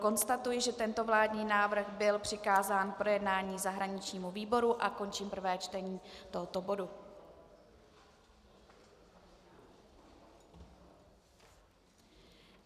Konstatuji, že tento vládní návrh byl přikázán k projednání zahraničnímu výboru, a končím prvé čtení tohoto bodu.